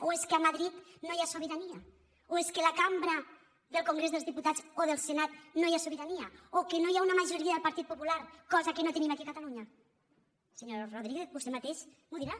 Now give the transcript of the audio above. o és que a madrid no hi ha sobirania o és que a la cambra del congrés dels diputats o del senat no hi ha sobirania o que no hi ha una majoria del partit popular cosa que no tenim aquí a catalunya senyor rodríguez vostè mateix m’ho dirà